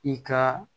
I ka